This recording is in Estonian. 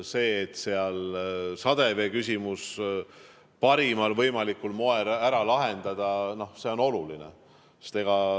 See, et seal sademevee küsimus tuleb parimal võimalikul moel ära lahendada, on oluline.